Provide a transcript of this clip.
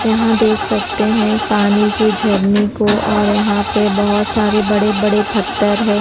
यहां देख सकते हैं पानी की झरने को और यहां पे बहोत सारे बड़े बड़े पत्थर है।